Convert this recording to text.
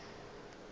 e le motho yo a